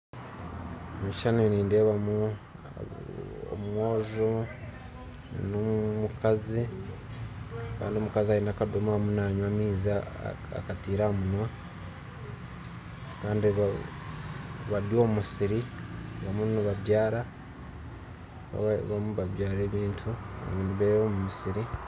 Omu kishushani nindeebamu omwojo n'omukazi kandi omukazi aine ekandoomora arimu nanywa amaizi akataire aha munwa kandi bari omu musiri barimu nibabyara ebintu omu musiri